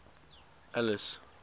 alice